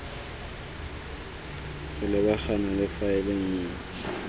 go lebagana le faele nngwe